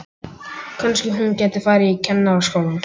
Kannski hún gæti farið í Kennaraskólann.